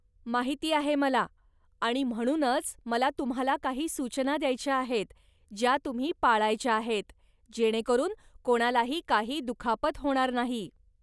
माहिती आहे मला, आणि म्हणूनच मला तुम्हाला काही सूचना द्यायच्या आहेत ज्या तुम्ही पाळायच्या आहेत, जेणेकरून कोणालाही काही दुखापत होणार नाही!